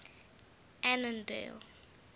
annandale